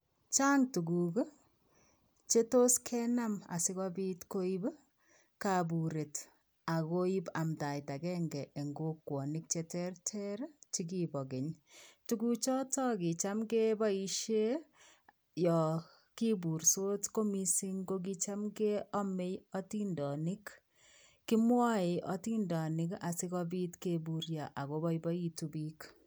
Chang tukuk chetos kenam asikobit koib kaburet ak koib amndaet akeng'e en kokwonik cheterter chekibo Keny, tukuchotok kicham keboishe Yoon kiburtos ko mising kicham keome otindonik, kimwoe atindonik asikobit keburio ak koboiboitu biik.